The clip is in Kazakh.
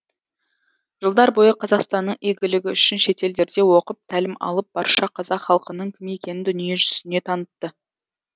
жылдар бойы қазақстанның игілігі үшін шетелдерде оқып тәлім алып барша қазақ халқының кім екенін дүние жүзіне танытты